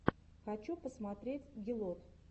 хочу посмотреть гелот